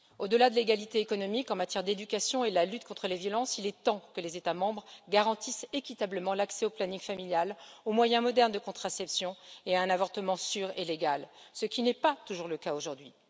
Au delà de l'égalité économique en matière d'éducation et de la lutte contre les violences, il est temps que les États membres garantissent équitablement l'accès au planning familial, aux moyens modernes de contraception et à un avortement sûr et légal, ce qui n'est pas toujours le cas aujourd'hui.